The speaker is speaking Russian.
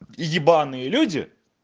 и ебанные люди